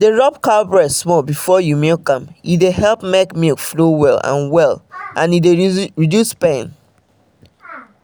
dey rub cow breast small before you milk am dey help make milk flow well and well and reduce pain